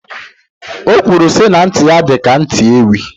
Okwuru si na nti ya di ka nti Ewi